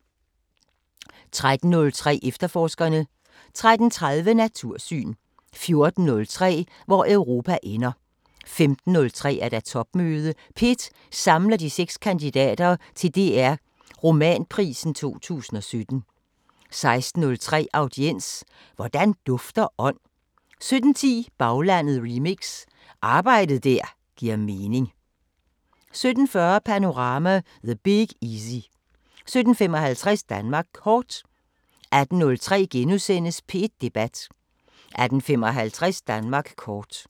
13:03: Efterforskerne 13:30: Natursyn 14:03: Hvor Europa ender 15:03: Topmøde – P1 samler de seks kandidater til DR Romanprisen 2017 16:03: Audiens: Hvordan dufter ånd? 17:10: Baglandet remix: Arbejde der giver mening 17:40: Panorama: The Big Easy 17:55: Danmark Kort 18:03: P1 Debat * 18:55: Danmark kort